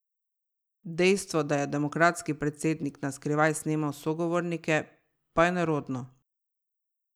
Dejstvo, da je demokratski predsednik na skrivaj snemal sogovornike, pa je nerodno.